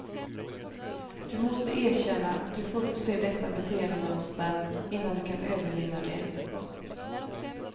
Du måste erkänna och till fullo se detta beteendemönster innan du kan övervinna det. punkt